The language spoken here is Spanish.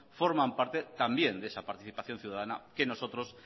forman parte también de esa participación ciudadana que nosotros